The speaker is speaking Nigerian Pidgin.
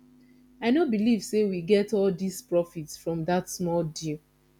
i no believe say we get all dis profit from dat small deal